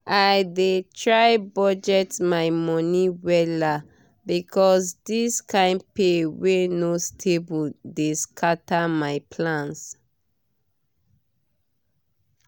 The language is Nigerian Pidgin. i dey try budget my money wella because this kain pay wey no stable dey scatter my plans.